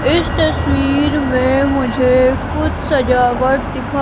इस तस्वीर में मुझे कुछ सजावट दिखा--